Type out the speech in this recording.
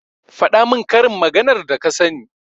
faɗa min karin maganar da ka sani.